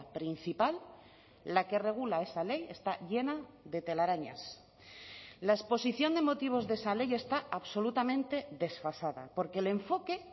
principal la que regula esa ley está llena de telarañas la exposición de motivos de esa ley está absolutamente desfasada porque el enfoque